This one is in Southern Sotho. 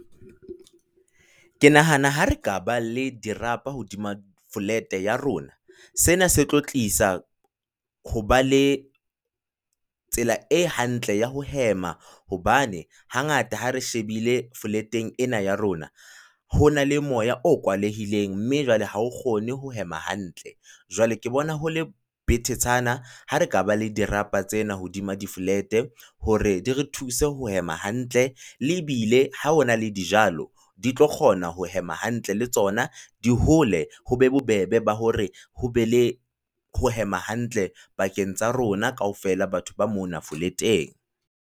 Ke nahana ha re ka ba le dirapa hodima flat ya rona, sena se tlo tlisa ho ba le tsela e hantle ya ho hema hobane hangata ha re shebile foleteng ena ya rona ho na le moya o kwalehileng mme jwale ha o kgone ho hema hantle. Jwale ke bona ho le betetshana ha re ka ba le dirapa tsena hodima di-flat hore di re thuse ho hema hantle, e bile ha hona le dijalo di tlo kgona ho hema hantle, le tsona di hole ho be bobebe ba hore ho be le ho hema hantle pakeng tsa rona kaofela batho ba mona foleteng.